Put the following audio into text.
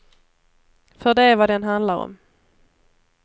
För det är vad den handlar om.